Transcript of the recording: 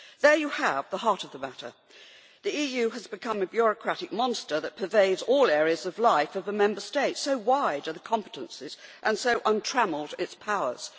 There you have the heart of the matter. The EU has become a bureaucratic monster that pervades all areas of life in the Member States, so wide are its competences and so untrammelled its powers.